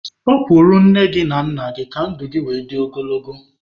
Sọpụrụ nne na nna gị ka ndụ gị were dị ogologo.